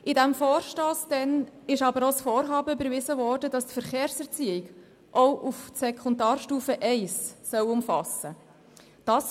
Damals wurde mit meinem Vorstoss auch das Vorhaben überwiesen, wonach die Verkehrserziehung auch die Sekundarstufe I umfassen soll.